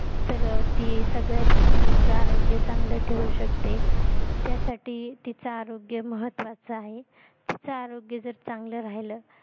तर ती सगळ्या FAMILY चे आरोग्य चांगलं ठेऊ शकते त्यासाठी तीच आरोग्य महत्वाच आहे तीचं आरोग्य जर चांगलं राहिलं